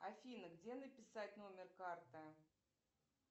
афина где написать номер карты